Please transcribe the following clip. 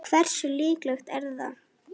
Hversu líklegt er það?